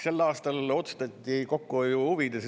Sel aastal otsustati kokkuhoiu huvides.